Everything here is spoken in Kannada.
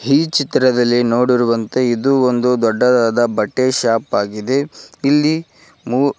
ಈ ಚಿತ್ರದಲ್ಲಿ ನೋಡಿರುವಂತೆ ಇದು ಒಂದು ದೊಡ್ಡದಾದ ಬಟ್ಟೆ ಶಾಪ್ ಆಗಿದೆ ಇಲ್ಲಿ ಮೂ --